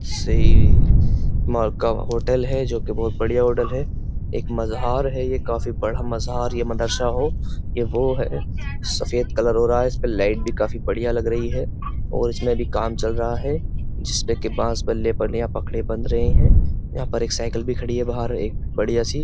से माँ का होटल है। जो की बहोत बढियां होटल है। एक मज़ार है ये काफी बड़ा मज़ार या मदरसा हो ये वो है। सफ़ेद कलर हो रहा इसपे लाइट भी बहुत बढ़िया लग रही है और इसमें अभी काम भी चल रहा है जिसमे के बांस बल्ले बल्लियाँ पखड़े बन रहे हैं यहाँ पर एक साइकिल भी खड़ी है बाहर एक बढिया सी --